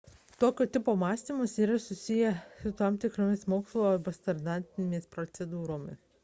tokio tipo mąstymas yra susijęs su tam tikromis mokslo arba standartinėmis procedūromis